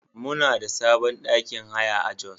Muna da sabon ɗakin haya a Jos.